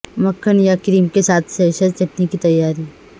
مکھن یا کریم کے ساتھ سیسر چٹنی کی تیاری